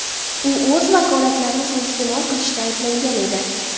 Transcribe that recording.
U o‘z vakolatlarini suiiste’mol qilishda ayblangan edi.